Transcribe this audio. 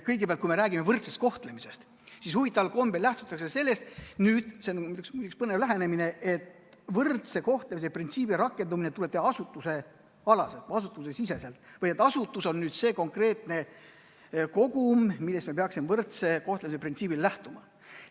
Kõigepealt, kui me räägime võrdsest kohtlemisest, siis huvitaval kombel lähtutakse sellest – see on üks põnev lähenemine –, et võrdse kohtlemise printsiibi rakendamine tuleb teha asutusesiseselt, et asutus on see konkreetne kogum, millest me peaksime võrdse kohtlemise printsiibi puhul lähtuma.